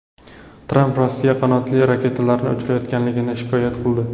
Tramp Rossiya qanotli raketalarni kuchaytirganligidan shikoyat qildi.